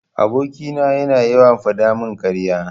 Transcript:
Aboki na yana yawan fadamin karya.